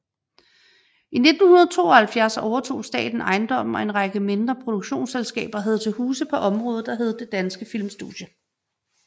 I 1972 overtog staten ejendommen og en række mindre produktionsselskaber havde til huse på området der hed Det Danske Filmstudie